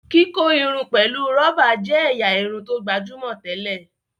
kíkọ Irun pẹlú roba jé ẹ̀yà Irun tó gbajúmọ̀ tẹlẹ.